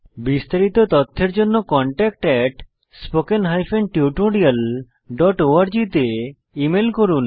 বিস্তারিত তথ্যের জন্য contactspoken tutorialorg তে ইমেল করুন